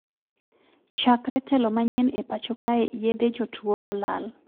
Chakre telo manyien e pacho kae yedhe jotuo olal